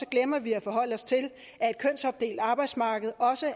glemmer vi at forholde os til at et kønsopdelt arbejdsmarked også